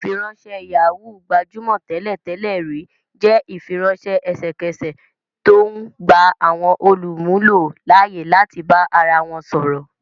Ìfiránṣẹ́ Yahoo, gbajúmọ̀ tẹ́lẹ̀ tẹ́lẹ̀ rí, jẹ́ ìfiránṣẹ́ ẹsẹ̀kẹsẹ̀ tó ń gba àwọn olùmúlò láyè láti bá ara wọn sọ̀rọ̀